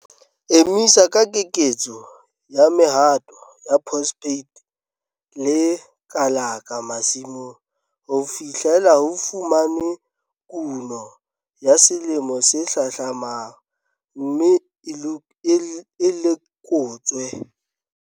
Emisa ka keketso ya mehato ya phosphate le kalaka masimong ho fihlela ho fumanwe kuno ya selemo se hlahlamang, mme e lekotswe.